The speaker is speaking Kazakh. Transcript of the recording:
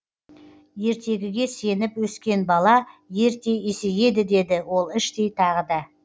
ертегіге сеніп өскен бала ерте есейеді деді ол іштей тағы да